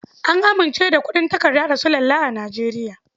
An amince da kuɗin takarda da sulalla a Nijeriya.